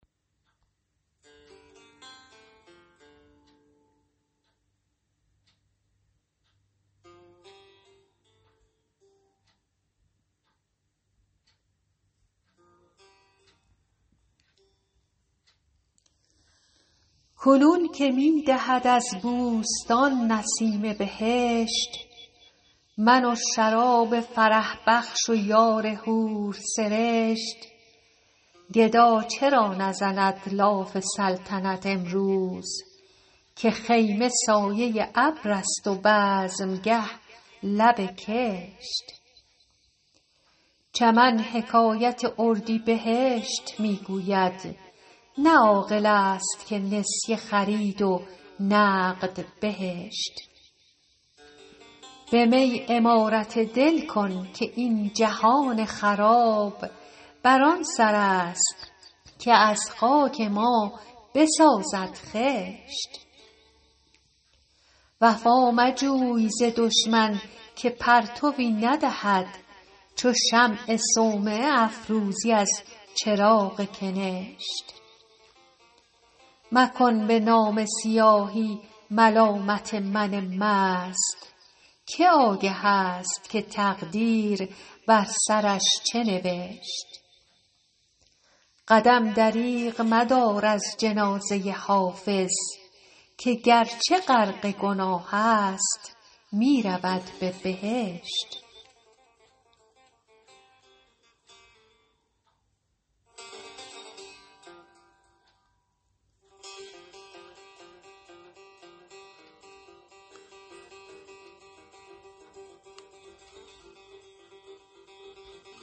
کنون که می دمد از بوستان نسیم بهشت من و شراب فرح بخش و یار حورسرشت گدا چرا نزند لاف سلطنت امروز که خیمه سایه ابر است و بزمگه لب کشت چمن حکایت اردیبهشت می گوید نه عاقل است که نسیه خرید و نقد بهشت به می عمارت دل کن که این جهان خراب بر آن سر است که از خاک ما بسازد خشت وفا مجوی ز دشمن که پرتوی ندهد چو شمع صومعه افروزی از چراغ کنشت مکن به نامه سیاهی ملامت من مست که آگه است که تقدیر بر سرش چه نوشت قدم دریغ مدار از جنازه حافظ که گرچه غرق گناه است می رود به بهشت